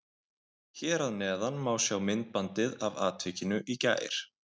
Hér að neðan má sjá myndbandið af atvikinu í gær.